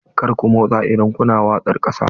Kar ku motsa idan kuna waƙar ƙasa!